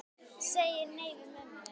Segir ekki nei við mömmu!